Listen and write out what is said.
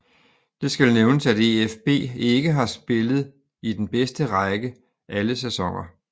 Det skal nævnes at EfB ikke har spillet i den bedste række alle sæsoner